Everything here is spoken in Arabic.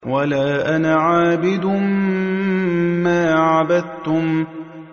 وَلَا أَنَا عَابِدٌ مَّا عَبَدتُّمْ